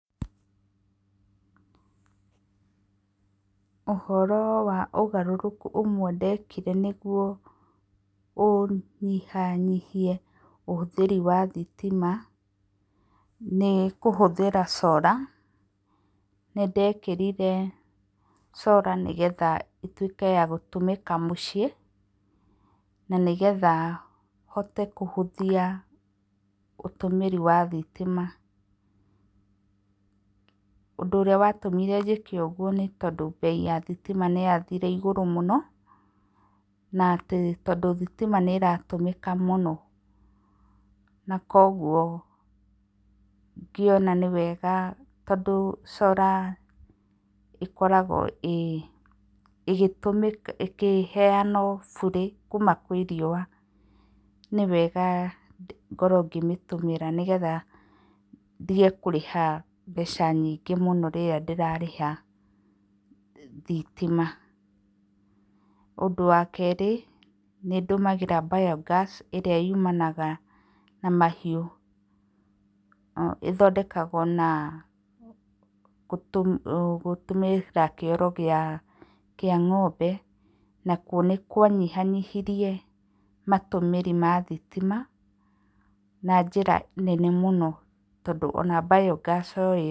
Ũhoro wa ũgarũrũku ũmwe ndekire nĩguo ũnyiha nyihie ũhũthĩri wa thitima, nĩkũhũthĩra solar, nĩndekĩrire solar, nĩgetha ĩtuĩke ya gũtũmĩka mũciĩ, na nĩgetha hote kũhũthia ũtũmĩri wa thitima. Ũndũ ũrĩa watũmĩre njĩke ũguo, nĩ tondũ mbei ya thitima nĩyathire igũrũ mũno. Na atĩ, tondũ thitima nĩ ĩratũmĩka mũno, na koguo ngĩona nĩ wega tondũ solar ikoragwo ĩkĩheyanwo bũrĩ, kuuma, kwĩ riũa, nĩwega ngorwo ngĩmĩtũmĩra, nĩgetha ndige kũrĩha mbeca nyingĩ mũno rĩrĩa ndĩrarĩha thitima. Ũndũ wa kerĩ, nĩ ndũmagĩra biogas ĩrĩa yumanaga na mahiũ. Ĩthondekagwo na gũtũmĩra kĩoro kĩa ng'ombe, nakuo nĩkwanyinyanyihirie matũmĩri ma thitima, na njĩra nene mũno tondũ ona biogas o ĩyo...